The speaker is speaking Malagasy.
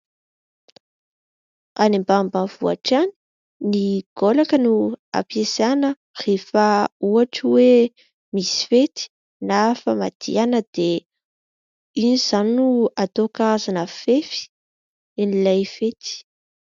Any ambanimbany vohitra any, ny gaolaka no ampiasaina rehefa ohatra hoe misy fety na famadihana dia iny izany no atao karazana fefy an'ilay fety.